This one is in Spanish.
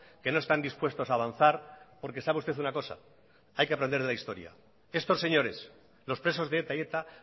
que no están dispuestos a avanzar porque sabe usted una cosa hay que aprender de la historia estos señores los presos de eta y eta